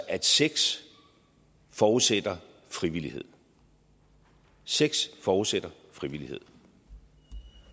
at sex forudsætter frivillighed sex forudsætter frivillighed